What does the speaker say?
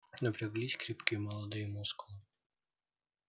напряглись крепкие молодые мускулы